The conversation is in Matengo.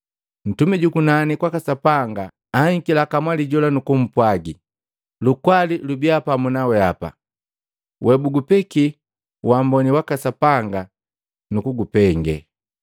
Ntumi jukunani kwaka Sapanga anhikila kamwali jola nukumpwagi, “Lukwali lubiya pamu na weapa! Webabugupeki wamboni waka Sapanga nukugupengee!”